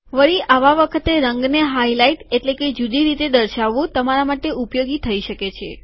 વળી આવા વખતે રંગને હાઈલાઈટ એટલે કે જુદી રીતે દર્શાવવું તમારા માટે ઉપયોગી થઈ શકે છે